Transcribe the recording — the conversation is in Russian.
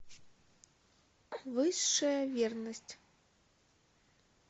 высшая верность